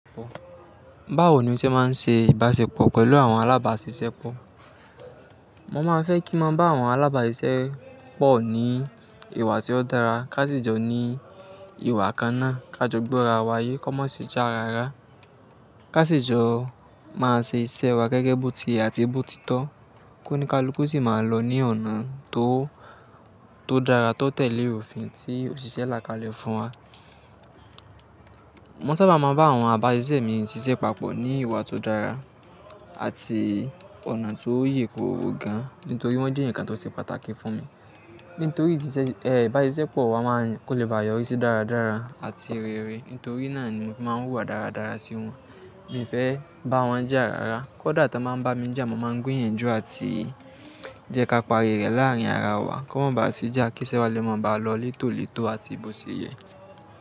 Báwo ni o ṣe máa ń ṣe ìbáṣepọ̀ pẹ̀lú àwọn alábáṣiṣẹ́ pọ̀? Mo máa n fẹ́ kí n mọo bá àwọn alábáṣiṣẹ́ pọ̀ ní ìwà tí ó dára, ká ṣi jọ ní ìwà kan náà, ká jọ gbọ́ra wá yé, kó má ṣijà rara. Ká ṣi jọ máa ṣe iṣẹ́ wa gẹ́gẹ́ bó ti ye àti bó ti tọ́, kóníkalúku sì máa lọ ní ọ̀nà tó tó dára tó tẹ̀lé òfin tí òṣìṣẹ́ là kále fún wa. Mo sábà máa ń bá àwọn ábáṣiṣẹ́ mi ṣiṣẹ́ papọ̀ ní ìwà tó dára àti ọ̀nà tó yèkooro gan, nítorí wọ́n jẹ́ eeyan kan tó ṣe pàtàkì fún mi. Nítorí ìsiṣe, ibáṣiṣẹ́ pọ̀ wa máa n, kó lè ba yọrí sí dáradára àti rere. Nítorí náà ni mo fi máa ń hùwà dáradára sí wọn. Mi fẹ́ bá wọn jà rárá, kódà tọ báa ń bá mi jà, mo máa ń gbìyànjú àti jẹ́ ká pari rẹ̀ láàárín ara wa, kó má ba sí jà kí iṣẹ́ wa lè mọ̀ bá lọ létòletò àti bòṣye.